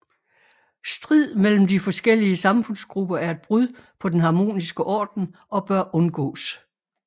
Strid mellem de forskellige samfundsgrupper er et brud på den harmoniske orden og bør undgås